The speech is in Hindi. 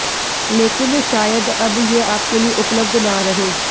लेकिन शायद अब ये आपके लिए उपलब्ध न रहे